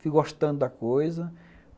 Fui gostando da coisa.